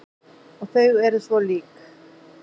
Og þau eru svo lík.